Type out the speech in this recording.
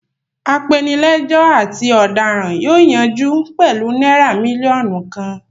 Apenilẹ́jọ́ àti ọ̀daràn yóò yanjú pẹ̀lú náírà mílíọ̀nù kan.